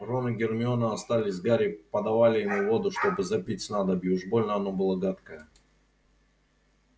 рон и гермиона остались с гарри подавали ему воду чтобы запить снадобье уж больно оно было гадкое